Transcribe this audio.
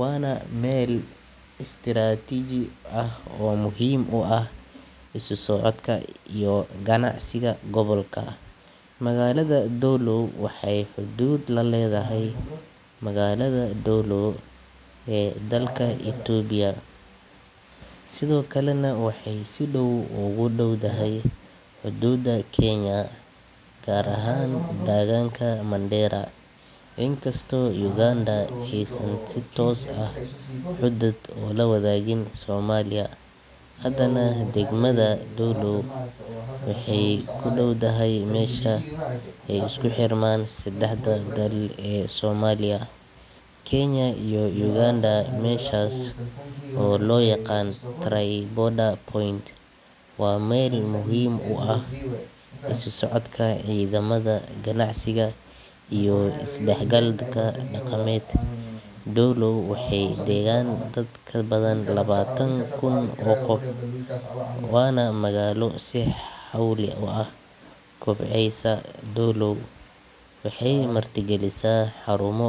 waana meel istiraatiiji ah oo muhiim u ah isu socodka iyo ganacsiga gobolka magaalada doolow waxay xuduud la leedahay magaalada doolow ee dalka itoobiya. Sidoo kalena waxay si dhow ugu dhow dahay xuduudda kenya gaar ahaan taaganka mandera inkastoo uganda xiisan si toos ah xudud ula wadaagin soomaaliya haddana degmada doolow waxay ku dhowdahay meesha isku xirmaan seddexdan dhal ee soomaaliya kenya iyo uganda meeshaas oo loo yaqaan tri border point waa meel muhiim u ah isu socodka Ciidamada ganacsiga iyo isdahgal dhaqaamet. Doolow waxay degan dad ka badan labatan kuun oo qof oo nah magaala sii huul uu ah kubcihisa waxay nah gelisa xurumo.